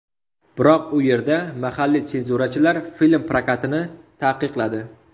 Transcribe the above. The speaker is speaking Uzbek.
Biroq u yerda mahalliy senzurachilar film prokatini taqiqladi.